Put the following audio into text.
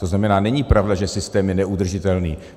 To znamená, není pravda, že systém je neudržitelný.